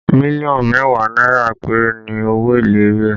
Million mẹ́wàá náírà péré ni owó èlé rẹ̀